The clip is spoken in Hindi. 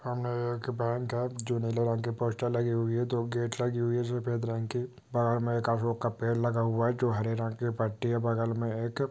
सामने एक बैक है जो नीले रंग की पोस्टर लगी हुई है दो गेट लगी हुई है सफेद रंग की बाहार में एक का पेड़ लगा हुआ है जो हरे रंग के पत्ते बगल में एक --